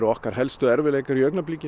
okkar helstu erfiðleikar